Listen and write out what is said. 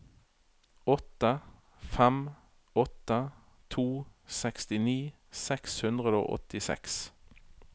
åtte fem åtte to sekstini seks hundre og åttiseks